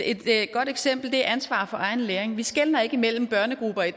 godt eksempel er ansvar for egen læring vi skelner ikke imellem børnegrupper i